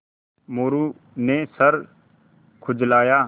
मोरू ने सर खुजलाया